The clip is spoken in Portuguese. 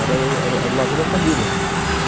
Era o era erao lazer da família.